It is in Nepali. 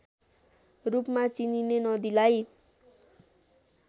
रूपमा चिनिने नदीलाई